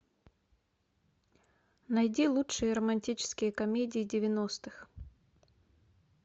найди лучшие романтические комедии девяностых